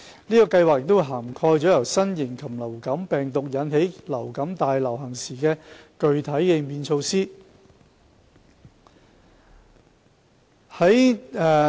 此計劃已涵蓋由新型流感病毒引起流感大流行時的具體應變措施。